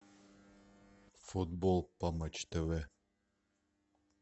футбол по матч тв